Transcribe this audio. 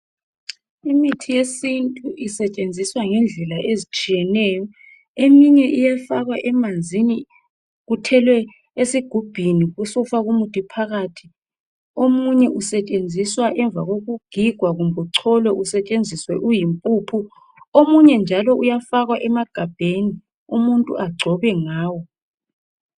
Imithi yesintu isetshenziswa ngendlela ezitsheyeneyo eminye iyafakwa emanzini uthelwe usigubhini ube usufaka umuthi phakathi omunye usetshenziswa ngemva kokugigwa kumbe ucholwe usentshenziswa usuyimpuphu omunye njalo uyafakwa emagabheni umuntu angcobe ngawo